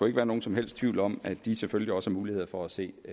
ikke være nogen som helst tvivl om at de selvfølgelig også har mulighed for at se